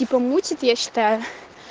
типо мутит я считаю